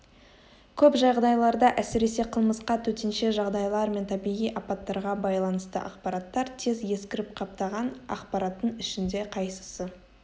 көп жағдайларда әсіресе қылмысқа төтенше жағдайлар мен табиғи апаттарға байланысты ақпараттар тез ескіріп қаптаған ақпараттың ішінде қайсысы